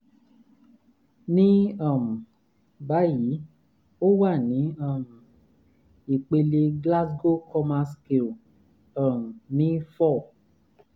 ní um báyìí ó wà ní um ìpele glasgow coma scale um ní four